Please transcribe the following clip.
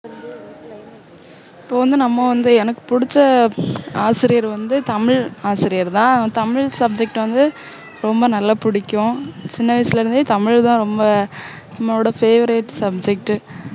இப்போ வந்து நம்ம வந்து எனக்கு புடிச்ச ஆசிரியர் வந்து தமிழ் ஆசிரியர்தான் தமிழ் subject வந்து ரொம்ப நல்லா புடிக்கும் சின்ன வயசுல இருந்து தமிழ்தான் ரொம்ப என்னோட favourite subject